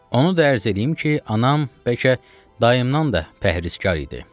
Onu da ərz eləyim ki, anam bəlkə dayımdan da pəhrizkar idi.